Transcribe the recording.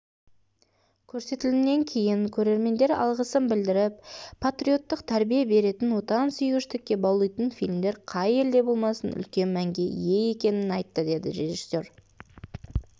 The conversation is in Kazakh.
көрсетілімнен кейін көрермендер алғысын білдіріп патриоттық тәрбие беретін отансүйгіштікке баулитын фильмдер қай елде болмасын үлкен мәнге ие екенін айтты деді режиссер